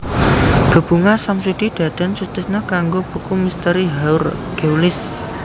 Bebungah Samsudi Dadan Sutisna kanggo buku Misteri Haur Geulis